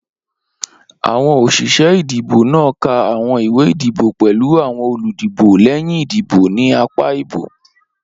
Awọn oṣiṣẹ idibo naa ka awọn iwe idibo pẹlu awọn oludibo lẹhin idibo ni apa ibo.